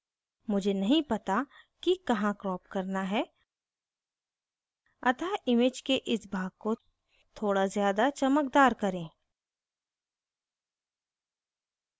मुझे नहीं पता कि कहाँ crop करना है अतः image के इस भाग को थोड़ा ज़्यादा चमकदार करें